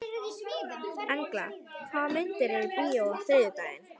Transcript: Engla, hvaða myndir eru í bíó á þriðjudaginn?